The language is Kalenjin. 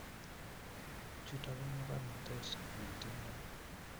chuto ko mokornatet ne tingdoi